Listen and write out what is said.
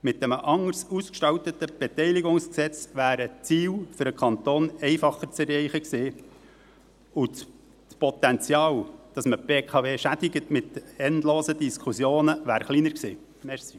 Mit einem anders ausgestalteten BKWG wären die Ziele für den Kanton einfacher zu erreichen gewesen, und das Potenzial, dass man die BKW mit endlosen Diskussionen schädigt, wäre kleiner gewesen.